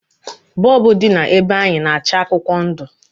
Bọlbụ dị na be anyị na-acha akwụkwọ ndụ